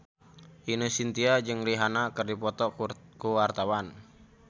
Ine Shintya jeung Rihanna keur dipoto ku wartawan